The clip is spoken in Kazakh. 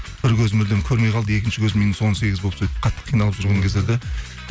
бір көзі мүлдем көрмей қалды екінші көзі минус он сегіз болып сөйтіп қатты қиналып жүрген кездерде